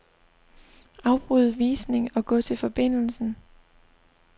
Afbryd visning og gå til forbindelsen.